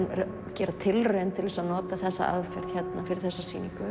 gera tilraun til þess að nota þessa aðferð hérna fyrir þessa sýningu